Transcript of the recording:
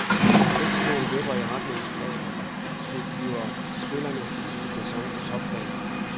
Vægtskålen vipper i retning af, at det her bliver spillerens sidste sæson på topplan.